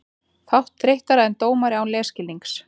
Fátt þreyttara en dómari án leikskilnings.